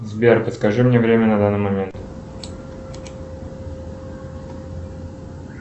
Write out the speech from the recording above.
сбер подскажи мне время на данный момент